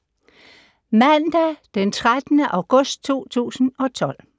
Mandag d. 13. august 2012